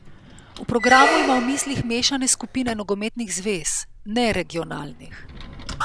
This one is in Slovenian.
V programu ima v mislih mešane skupine nogometnih zvez, ne regionalnih.